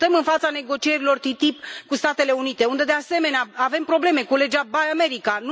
Suntem în fața negocierilor TTIP cu Statele Unite, unde, de asemenea, avem probleme cu legea buy American